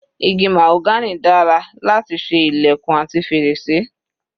Igi mahagony dára láti ṣe ilẹ̀kùn àti fèrèsé.